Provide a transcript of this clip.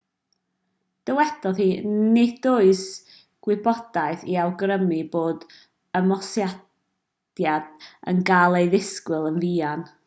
dywedodd hi nid oes gwybodaeth i awgrymu bod ymosodiad yn cael ei ddisgwyl yn fuan